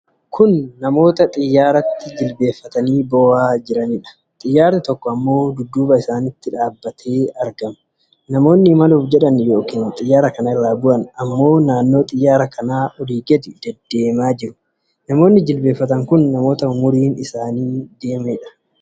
Kun namoota xiyyaaratti jilbeenfatanii boo'aa jiraniidha. Xiyyaarri tokko ammoo dudduuba isaanitti dhaabattee argamti. Namoonni imaluuf jedhan yookiin xiyyaara kana irra bu'an ammoo naannoo xiyyaara kanaa oli gadi deeddeemaa jiru. Namooti jilbeenfatan kun namoota umuriin deemaniidha.